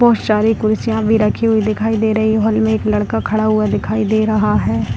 बहोत शारी कुर्सियां भी रखी हुई दिखाई दे रही हॉल में एक लड़का खड़ा हुआ दिखाई दे रहा है।